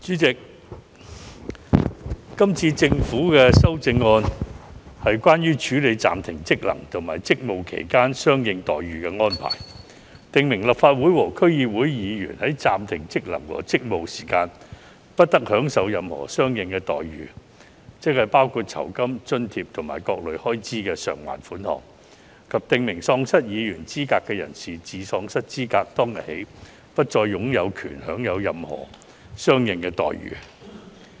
主席，今次政府的修正案，是關於處理暫停職能和職務期間相應待遇的安排，訂明立法會和區議會議員在暫停職能和職務期間，不得享受任何相應待遇，即包括酬金、津貼及各類開支償還款額，以及訂明喪失議員資格的人士，自喪失資格當天起不再有權享有任何相應待遇。